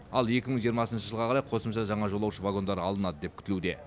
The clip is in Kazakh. ал екі мың жиырмасыншы жылға қарай қосымша жаңа жолаушы вагондары алынады деп күтілуде